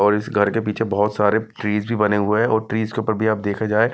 और इस घर के पीछे बहुत सारे ट्री हुए हैं और ट्री के ऊपर भी आप देखा जाए--